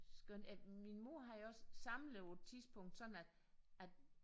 Skønt øh min mor havde også samlet på et tidspunkt sådan at at